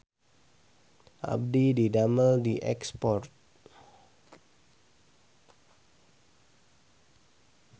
Abdi didamel di Export